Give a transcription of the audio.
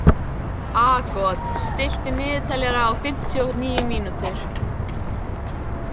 Aagot, stilltu niðurteljara á fimmtíu og níu mínútur.